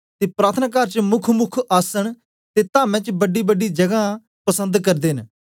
ते प्रार्थनाकार च मुख्य मुख्य आसन ते तामें च बड़ीबड़ी जगहां मिलना पसन्द करदे न